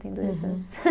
Tem dois anos.